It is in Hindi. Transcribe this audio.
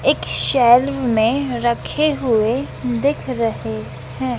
एक शैल में रखे हुए दिख रहे हैं।